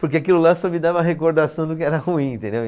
Porque aquilo lá só me dava a recordação do que era ruim, entendeu?